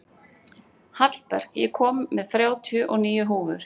Hallberg, ég kom með þrjátíu og níu húfur!